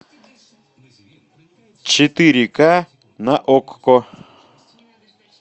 четыре ка на окко